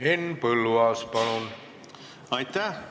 Henn Põlluaas, palun!